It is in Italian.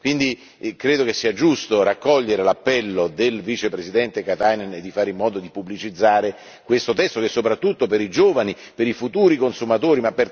Quindi, credo che sia giusto raccogliere l'appello del Vicepresidente Katainen di fare in modo di pubblicizzare questo testo, soprattutto per i giovani, i futuri consumatori.